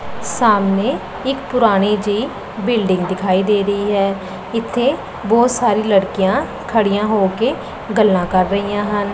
ਸਾਹਮਣੇ ਇੱਕ ਪੁਰਾਣੀ ਜਿਹੀ ਬਿਲਡਿੰਗ ਦਿਖਾਈ ਦੇ ਰਹੀ ਹੈ ਇੱਥੇ ਬਹੁਤ ਸਾਰੀ ਲੜਕੀਆਂ ਖੜੀਆਂ ਹੋ ਕੇ ਗੱਲਾਂ ਕਰ ਰਹੀਆਂ ਹਨ।